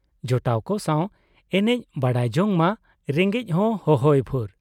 ᱡᱚᱴᱟᱣ ᱠᱚ ᱥᱟᱶ ᱮᱱᱮᱡ ᱵᱟᱰᱟᱭ ᱡᱚᱝ ᱢᱟ ᱨᱮᱸᱜᱮᱡ ᱦᱚᱸ ᱦᱚᱦᱚᱭ ᱵᱷᱩᱨ ᱾